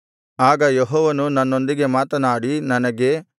ಆಗ ಯೆಹೋವನು ನನ್ನೊಂದಿಗೆ ಮಾತನಾಡಿ ನನಗೆ